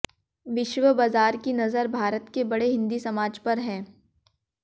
विश्व बाजार की नजर भारत के बड़े हिन्दी समाज पर है